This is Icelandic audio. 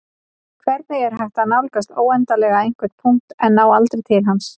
Hvernig er hægt að nálgast óendanlega einhvern punkt en ná aldrei til hans?